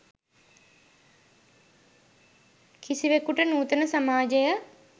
කිසිවෙකුට නූතන සමාජය